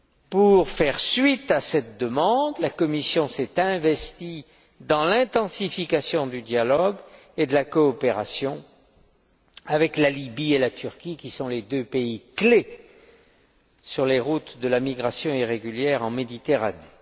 Pour faire suite à cette demande, la Commission s'est investie dans l'intensification du dialogue et de la coopération avec la Libye et la Turquie, qui sont les deux pays clés sur les routes de la migration irrégulière en Méditerranée.